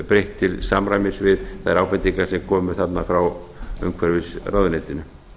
breytt til samræmis við þær ábendingar sem komu þarna frá umhverfisráðuneytinu